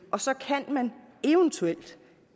og så kan man eventuelt